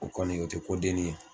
O kɔni o tI ko dennin ye.